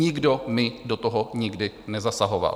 Nikdo mi do toho nikdy nezasahoval.